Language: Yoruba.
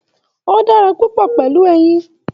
O dára papọ pẹlú ẹyìn.